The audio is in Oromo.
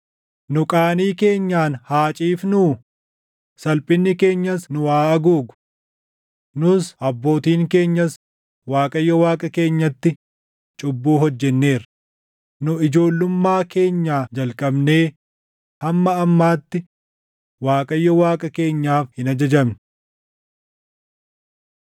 Nu qaanii keenyaan haa ciifnuu; salphinni keenyas nu haa haguugu. Nus abbootiin keenyas Waaqayyo Waaqa keenyatti cubbuu hojjenneerra; nu ijoollummaa keenyaa jalqabnee // hamma ammaatti Waaqayyo Waaqa keenyaaf hin ajajamne.”